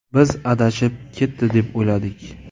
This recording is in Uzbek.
Biz adashib ketdi, deb o‘yladik.